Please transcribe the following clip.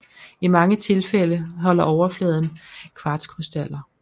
I mange tilfælde holder overfladen kvartskrystaller